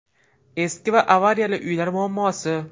Eski va avariyali uylar muammosi.